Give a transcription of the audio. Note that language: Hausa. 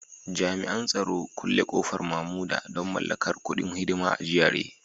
Jami'an tsaro Kulle kofar Mamuda don mallakar kudin hidima a GRA